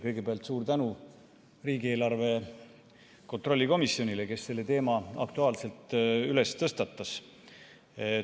Kõigepealt suur tänu riigieelarve kontrolli komisjonile, kes selle teema aktuaalselt tõstatas!